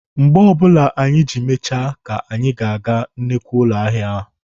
Mgbe ọbụla anyị ji mechaa ka anyị ga-aga na nnukwu ụlọ ahịa.